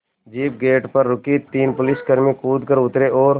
jeep gate पर रुकी तीन पुलिसकर्मी कूद कर उतरे और